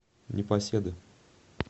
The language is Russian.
непоседы